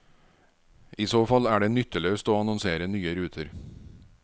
I så fall er det nytteløst å annonsere nye ruter.